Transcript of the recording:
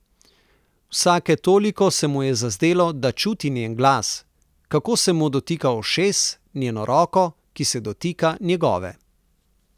Vsake toliko se mu je zazdelo, da čuti njen glas, kako se mu dotika ušesa, njeno roko, ki se dotika njegove.